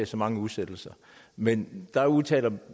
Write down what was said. så mange udsættelser men der udtaler